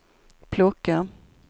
plocka